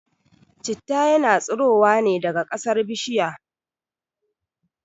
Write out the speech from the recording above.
Citta yana tsurowa ne daga kasar bishirya